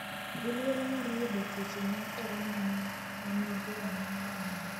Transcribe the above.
gi luoro mar yudo tuoche mag korona ma nigi rang’iny mamalo.